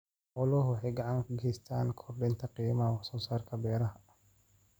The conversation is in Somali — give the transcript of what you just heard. Xooluhu waxay gacan ka geystaan ??kordhinta qiimaha wax soo saarka beeraha.